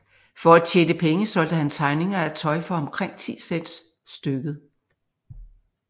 For at tjene penge solgte han tegninger af tøj for omkring 10 cents stykket